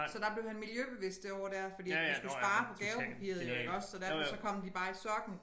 Så der blev han miljøbevidst det år der fordi at vi skulle spare på gavepapiret jo iggås så derfor så kom de bare i sokken